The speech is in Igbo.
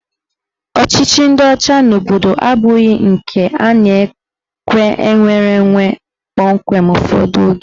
Ọchịchị ndị ọcha n'obodo abụghị nke ha na-ekwe nnwereonwe kpọmkwem ụfọdụ oge.